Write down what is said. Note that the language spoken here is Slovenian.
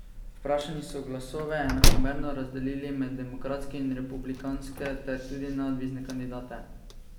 Vprašani so glasove enakomerno razdelili med demokratske in republikanske ter tudi neodvisne kandidate.